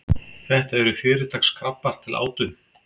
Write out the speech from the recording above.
þetta eru fyrirtaks krabbar til átu